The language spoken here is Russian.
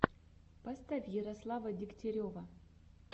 поставь ярослава дегтярева